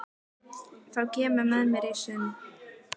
Þú kemur með mér í sund, er það ekki?